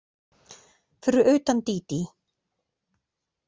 Fyrir utan Dídí.